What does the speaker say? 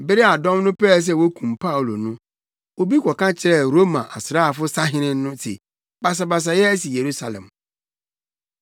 Bere a dɔm no pɛɛ sɛ wokum Paulo no, obi kɔka kyerɛɛ Roma asraafo sahene no se basabasa asi Yerusalem.